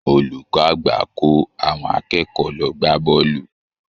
Olùkọ́ àgbà kò àwọn akẹ́kọ̀ọ́ lọ gbá bọ́ọ̀lù